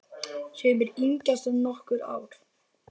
Sumir yngjast um nokkur ár.